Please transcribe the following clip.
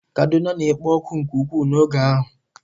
Kaduna na-ekpo ọkụ nke ukwuu n'oge ahụ.